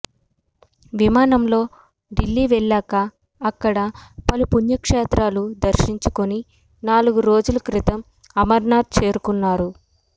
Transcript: విమానంలో ఢిల్లీ వెళ్లాక అక్కడ పలు పుణ్యక్షేత్రాలు దర్శించుకుని నాలుగు రోజుల క్రితం అమర్నాథ్ చేరుకున్నారు